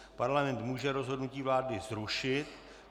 Parlament může rozhodnutí vlády zrušit.